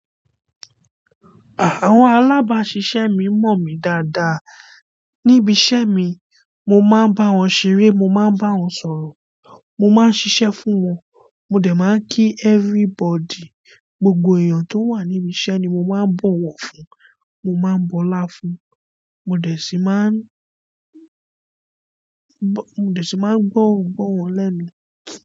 Àwọn alabasisemi mo mi dáadáa nibi isemi mo máa ń b'awọn ṣeré mo máa ń b'awọn sọ̀rọ̀ mo máa ń ṣíṣe fún wọn mo de máa ń kí everybody gbogbo èyán tó wà níbi iṣẹ́ ni mo máa ń bọ̀wọ̀ fún mo máa ń bọlá fún mo dẹ̀ sí máa ń. Mo dẹ̀ ṣì máa ń gbọ́ wọn, gbọ́ wọn lẹ́mi.